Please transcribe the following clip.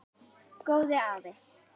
Góði afi.